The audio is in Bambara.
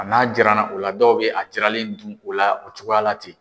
a n'a jiranna o la dɔw bɛ a jiranlen dun o la o cogoya ten.